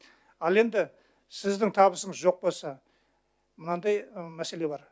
ал енді сіздің табысыңыз жоқ болса мынандай мәселе бар